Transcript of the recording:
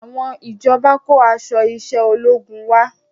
Àwọn ìjọba kó aṣọ iṣẹ́ ológun wá